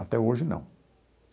Até hoje, não.